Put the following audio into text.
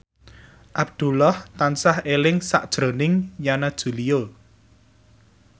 Abdullah tansah eling sakjroning Yana Julio